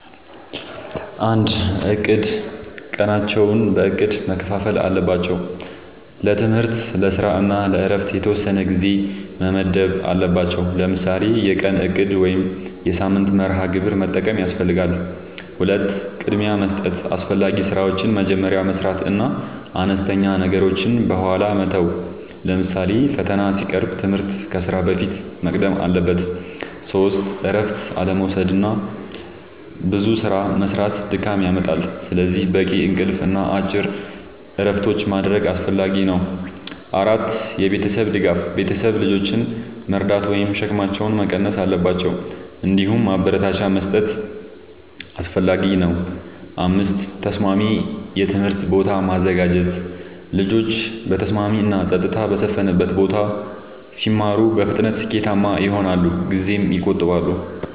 ፩. እቅድ፦ ቀናቸውን በእቅድ መከፋፈል አለባቸው። ለትምህርት፣ ለስራ እና ለእረፍት የተወሰነ ጊዜ መመደብ አለባቸዉ። ለምሳሌ የቀን እቅድ ወይም የሳምንት መርሃ ግብር መጠቀም ያስፈልጋል። ፪. ቅድሚያ መስጠት፦ አስፈላጊ ስራዎችን መጀመሪያ መስራት እና አነስተኛ ነገሮችን በኋላ መተው። ለምሳሌ ፈተና ሲቀርብ ትምህርት ከስራ በፊት መቅደም አለበት። ፫. እረፍት አለመዉሰድና ብዙ ስራ መስራት ድካም ያመጣል። ስለዚህ በቂ እንቅልፍ እና አጭር እረፍቶች ማድረግ አስፈላጊ ነው። ፬. የቤተሰብ ድጋፍ፦ ቤተሰብ ልጆችን መርዳት ወይም ሸክማቸውን መቀነስ አለባቸው። እንዲሁም ማበረታቻ መስጠት አስፈላጊ ነው። ፭. ተስማሚ የትምህርት ቦታ ማዘጋጀት፦ ልጆች በተስማሚ እና ጸጥታ በሰፈነበት ቦታ ሲማሩ በፍጥነት ስኬታማ ይሆናሉ ጊዜም ይቆጥባሉ።